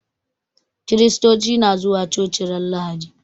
Kiristoci na zuwa coci ran lahadi